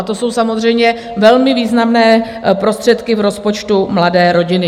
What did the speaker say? A to jsou samozřejmě velmi významné prostředky v rozpočtu mladé rodiny.